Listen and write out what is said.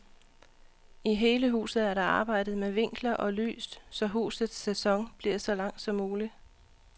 I hele huset er der arbejdet med vinkler og lys, så husets sæson bliver så lang som mulig.